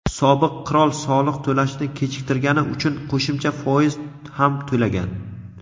sobiq qirol soliq to‘lashni kechiktirgani uchun qo‘shimcha foiz ham to‘lagan.